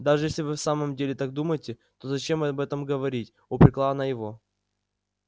даже если вы в самом деле так думаете то зачем об этом говорить упрекала она его